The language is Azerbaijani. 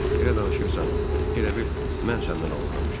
Elə danışırsan, elə bil mən səndən oğurlamışam.